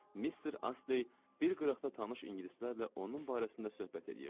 Mister Astley bir qıraqda tanış ingilislərlə onun barəsində söhbət eləyirdi.